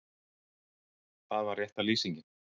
Það var rétta lýsingin.